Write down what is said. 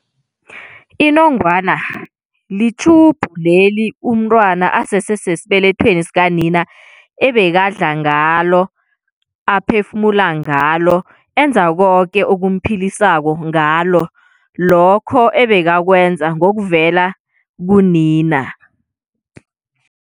Inongwana li-tube leli umntwana asese sesibelethweni sikanina ebekadla ngalo, aphefumula ngalo, enza koke okumphilisako ngalo lokho ebekakwenza ngokuvela kunina.